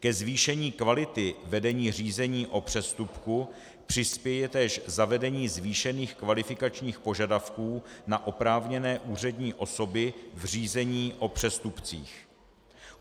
Ke zvýšení kvality vedení řízení o přestupku přispěje též zavedení zvýšení kvalifikačních požadavků na oprávněné úřední osoby v řízení o přestupcích.